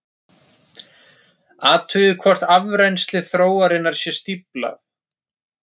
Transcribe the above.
Athugið hvort afrennsli þróarinnar sé stíflað.